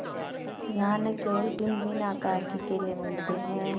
यहाँ न केवल भिन्नभिन्न आकार के केले मिलते हैं